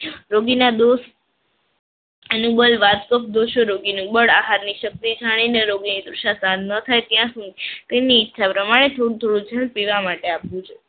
રોગીના દોષ અનુબંધ વાત તે જાણીને રોગીની તૃષા શાંત ન થાય ત્યાં સુધી તેની ઈચ્છા પ્રમાણે થોડું થોડું પીવા માટે આપવું જોઈએ.